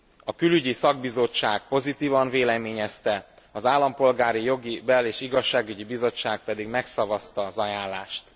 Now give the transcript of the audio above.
A külügyi szakbizottság pozitívan véleményezte, az Állampolgári Jogi, Bel és Igazságügyi Bizottság pedig megszavazta az ajánlást.